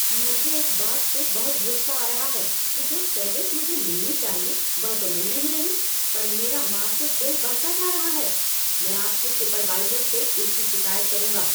मुझे इस बात से बहुत गुस्सा आ रहा है कि जो सर्विस मुझे मिलनी चाहिए वह तो मिल नहीं रहा पर मेरा मासिक बिल बढ़ता जा रहा है। मैं आपके सुपरवाइज़र से इसकी शिकायत करूंगा।